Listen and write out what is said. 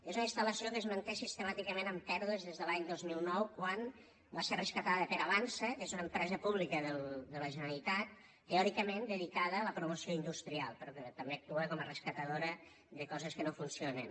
és una instal·lació que es manté sistemàticament amb pèrdues des de l’any dos mil nou quan va ser rescatada per avançsa que és una empresa pública de la generalitat teòricament dedicada a la promoció industrial però que també actua com a rescatadora de coses que no funcionen